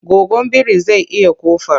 Goggon biri zai iya ƙofar.